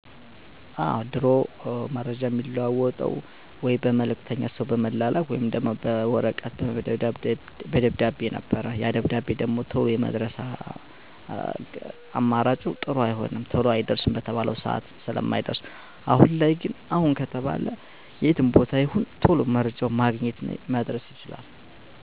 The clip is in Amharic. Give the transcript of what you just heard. በጣም ተለውጧል። በፊት ከነበረው የመረጃ ማግኛ መንገዶች በጣም ፈጣንና አስተማማኝ መረጃወችን በቀላሉ ማግኘት ይቻላል።